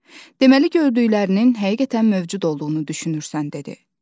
"Deməli, gördüklərinin həqiqətən mövcud olduğunu düşünürsən?" dedi.